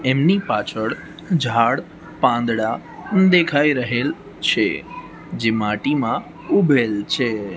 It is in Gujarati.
એમની પાછળ ઝાડ પાંદડા દેખાય રહેલ છે જે માટીમાં ઉભેલ છે.